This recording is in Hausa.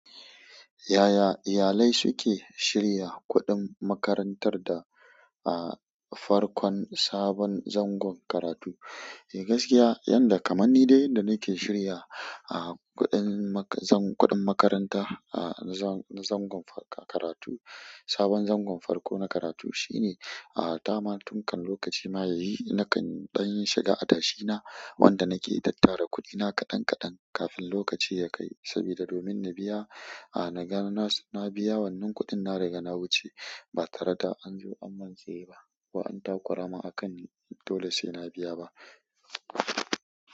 Yaya iyalai suke shirya kuɗin makarantar da, ah, farkon sabon zangon karatu? E, gaskiya yanda kamar ni dai da nake shirya, ah, kuɗin maka-- zan kuɗin makaranta, ah, na zan-- na zangon farko karatu, sabon zangon farko na karatu shine, ah, dama tun kan lokaci ma ya yi na kan ɗan shiga adashi na wanda nake tattara kuɗina kaɗan kaɗan kafin lokaci ya kai sabida domin na biya, ah, na ga na samu na biya wannan kuɗin na riga na wuce ba tare da an zo an min tsaye ba ko an takura min a kan, dole sai na biya ba.